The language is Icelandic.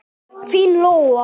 Þín Lóa.